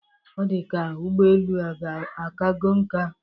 Ọ dị ka ụgbọelu a akago nka?